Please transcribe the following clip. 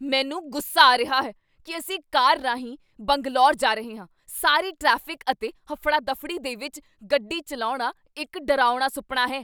ਮੈਨੂੰ ਗੁੱਸਾ ਆ ਰਿਹਾ ਹੈ ਕੀ ਅਸੀਂ ਕਾਰ ਰਾਹੀਂ ਬੰਗਲੌਰ ਜਾ ਰਹੇ ਹਾਂ ਸਾਰੇ ਟ੍ਰੈਫਿਕ ਅਤੇ ਹਫੜਾ ਦਫੜੀ ਦੇ ਵਿੱਚ ਗੱਡੀ ਚੱਲਾਉਣਾ ਇੱਕ ਡਰਾਉਣਾ ਸੁਪਨਾ ਹੈ!